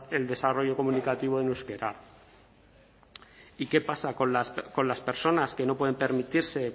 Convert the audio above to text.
el desarrollo comunicativo en euskera y qué pasa con las personas que no pueden permitirse